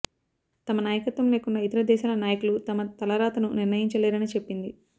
తమ నాయకత్వం లేకుండా ఇతర దేశాల నాయకులు తమ తలరాతను నిర్ణయించలేరని చెప్పింది